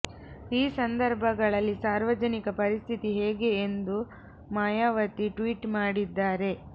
ಈ ಸಂದರ್ಭಗಳಲ್ಲಿ ಸಾರ್ವಜನಿಕ ಪರಿಸ್ಥಿತಿ ಹೇಗೆ ಎಂದು ಮಾಯಾವತಿ ಟ್ವೀಟ್ ಮಾಡಿದ್ದಾರೆ